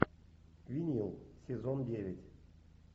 винил сезон девять